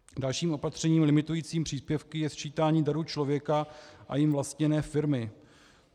Dalším opatřením limitujícím příspěvky je sčítání daru člověka a jím vlastněné firmy.